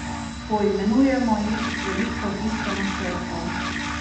Poimenujemo jih z veliko tiskano črko.